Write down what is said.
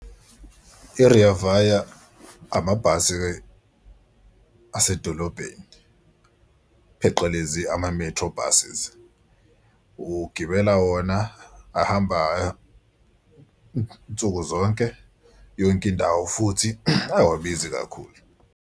I-Rea Vaya amabhasi asedolobheni pheqelezi ama-metro buses. Ugibela wona ahamba nsuku zonke yonke indawo futhi awabizi kakhulu.